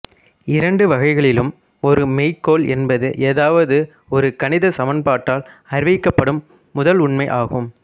இரண்டு வகைகளிலும் ஒரு மெய்க்கோள் என்பது ஏதாவது ஒரு கணிதச் சமன்பாட்டால் அறிவிக்கப்படும் முதலுண்மை ஆகும்